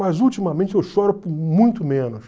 Mas ultimamente eu choro muito menos.